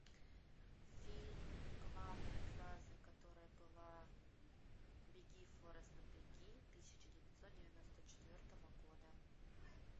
фильм главной фразой которой была беги форест беги тысяча девятьсот девяносто четвертого года